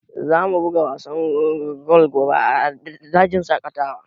Za mu buga wasan golf gobe a dajin shaƙatawa